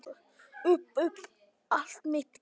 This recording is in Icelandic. Upp upp allt mitt geð.